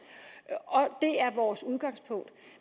og det er vores udgangspunkt